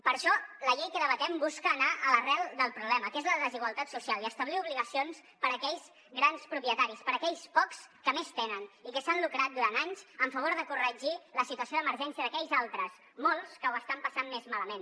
per això la llei que debatem busca anar a l’arrel del problema que és la desigualtat social i establir obligacions per a aquells grans propietaris per a aquells pocs que més tenen i que s’han lucrat durant anys en favor de corregir la situació d’emergència d’aquells altres molts que ho estan passant més malament